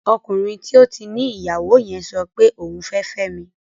Ọkùnrin tí ó ti ní ìyàwó yẹn sọpe òun fẹ́ fẹ́mi